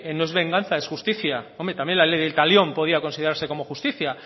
no es venganza es justicia hombre también la ley del talión podía considerarse como justicia